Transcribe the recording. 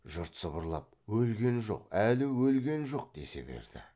жұрт сыбырлап өлген жоқ әлі өлген жоқ десе берді